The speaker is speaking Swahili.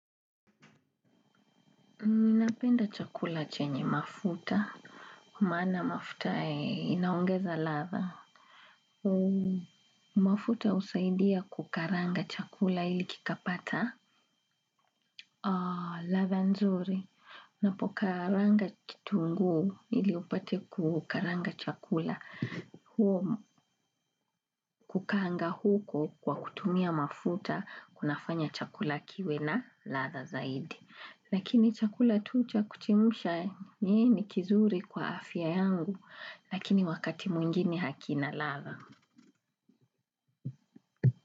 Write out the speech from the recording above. Ninapenda chakula chenye mafuta. Maana mafuta inaongeza ladha. Mafuta husaidia kukaranga chakula ili kikapata. Ladha nzuri. Ninapokaranga kitunguu ili upate kukaranga chakula. Huo kukaanga huko kwa kutumia mafuta kunafanya chakula kiwe na ladha zaidi. Lakini chakula tu cha kuchemsha ni kizuri kwa afya yangu, lakini wakati mwingine hakina ladha.